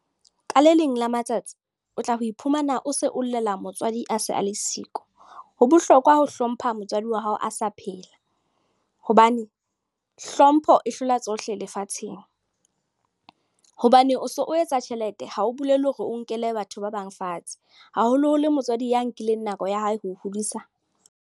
Ka le leng la matsatsi o tla ho iphumana o se o llela motswadi a se a le siko. Ho bohlokwa ho hlompha motswadi wa hao a sa phela hobane hlompho e hlola tsohle lefatsheng. Hobane o so o etsa tjhelete ha o bolele hore o nkele batho ba bang fatshe haholoholo motswadi ya nkileng nako ya hae ho o hodisa.